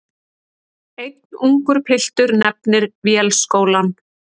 Einn ungur piltur nefnir Vélskólann.